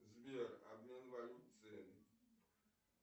сбер обмен валют цены